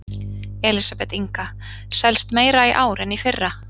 Elísabet Inga: Selst meira í ár en í fyrra?